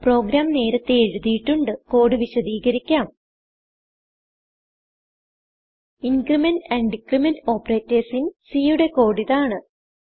programme നേരത്തേ എഴുതിയിട്ടുണ്ട് code വിശദികരിക്കാം increment and decrement operators in C യുടെ കോഡ് ഇതാണ്